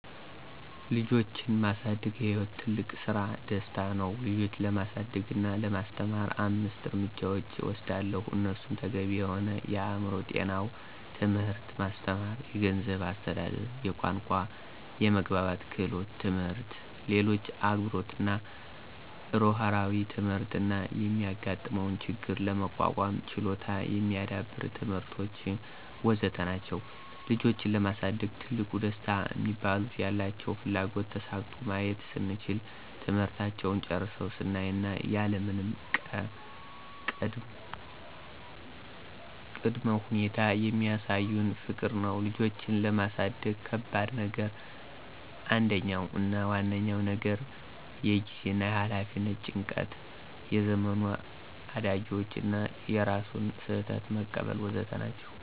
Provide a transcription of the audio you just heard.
ልጆችን ማሳደግ የሕይወት ትልቁ ስራና ደስታ ነው ልጆችን ለማሳደግ እና ለማስተማር አምስት እርምጃዎችን እወስዳለሁ እነሱም ተገቢ የሆነ የአእምሮ ጤናው ትምህርት ማስተማር፣ የገንዝብ አስተዳደር፣ የቋንቋና የመግባባት ክህሎት ትምህርት፣ ለሌሎች አክብሮትና እርህራሄ ትምህርት እና የሚጋጥመውን ችግር ለመቋቋም ችሎታ የሚዳብሩ ትምህርቶች.. ወዘተ ናቸዉ። ልጆችን ለማሳደግ ትልቁ ደስታ ሚባሉት፦ ያላቸውን ፍላጎት ተሳክቶ ማየት ስንችል፣ ትምህርታቸውን ጨርሰው ስናይ እና ያለምንም ቀ ቅድመ ሁኔታ የሚሳዩን ፍቅር ነው። ልጆችን ለማሳደግ ከባድ ነገር አንደኛው አና ዋነኛው ነገር የጊዜና የኋላፊነት ጭንቀት፣ የዘመኑ አዳጊዎቹ እና የራስን ስህተት መቀበል.. ወዘተ ናቸው።